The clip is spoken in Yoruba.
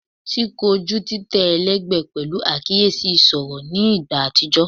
Ti koju titẹ ẹlẹgbẹ pẹlu akiyesi iṣọra ni igba atijọ